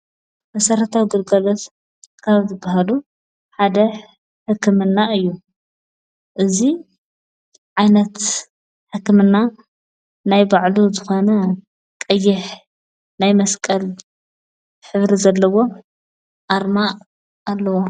መሠረታዊ ጕድገለት ካብ ዝበሃሉ ሓደ ሕክምና እዩ እዙይ ዓይነት ሕክምና ናይ ባዕሉ ዝኾነ ቀይሕ ናይ መስቀል ኅብሪ ዘለዎ ኣርማ ኣለዋ።